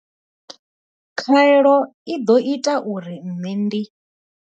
Khaelo i ḓo ita uri nṋe ndi.